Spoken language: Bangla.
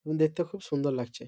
দেখতে খুব সুন্দর লাগছে ।